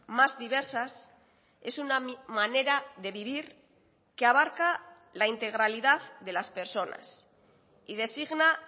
más diversas es una manera de vivir que abarca la integralidad de las personas y designa